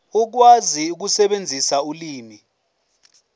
ukwazi ukusebenzisa ulimi